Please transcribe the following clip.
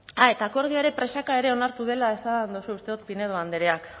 a eta akordioa ere presaka ere onartu dela esan duzu uste dut pinedo andreak